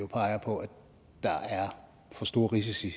peger på at der er for store risici